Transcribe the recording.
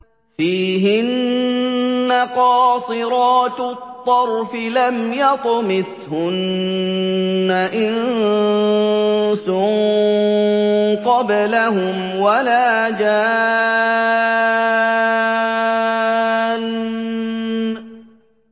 فِيهِنَّ قَاصِرَاتُ الطَّرْفِ لَمْ يَطْمِثْهُنَّ إِنسٌ قَبْلَهُمْ وَلَا جَانٌّ